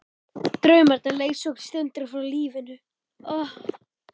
Draumarnir leysa okkur stundum frá lífinu.